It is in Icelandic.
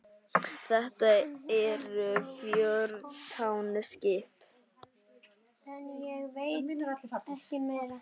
Þetta eru fjórtán skip.